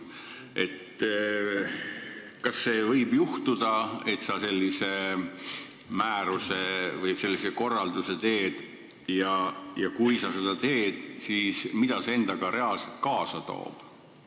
Kas võib juhtuda, et sa sellise määruse või korralduse teed, ja kui sa seda teed, siis mida see endaga reaalselt kaasa toob?